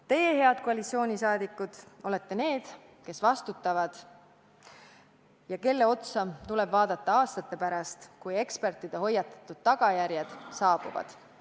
Teie, head koalitsiooni liikmed, olete need, kes vastutavad ja kelle otsa tuleb vaadata aastate pärast, kui tagajärjed, mille eest eksperdid on hoiatanud, saabuvad.